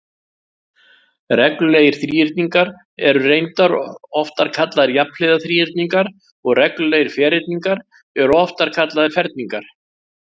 Reglulegir þríhyrningar eru reyndar oftar kallaðir jafnhliða þríhyrningar og reglulegir ferhyrningar eru oftar kallaðir ferningar.